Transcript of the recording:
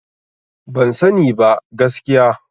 Ban sani ba, gaskiya.